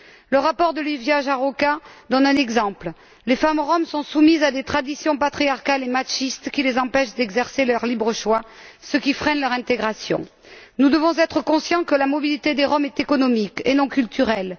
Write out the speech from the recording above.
Le rapport de Lívia Járóka donne un exemple les femmes roms sont soumises à des traditions patriarcales et machistes qui les empêchent d'exercer leur libre choix, ce qui freine leur intégration. Nous devons être conscients que la mobilité des roms est économique et non culturelle.